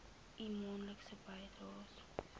u maandelikse bydraes